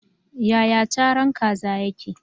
Yaya caran kaza yake?